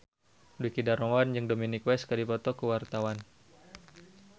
Dwiki Darmawan jeung Dominic West keur dipoto ku wartawan